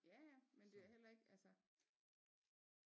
Ja ja men det er heller ikke altså